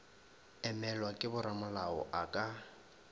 emelwa ke boramolao a ka